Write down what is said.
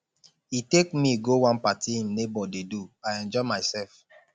he take me go one party im neighbor dey do i enjoy myself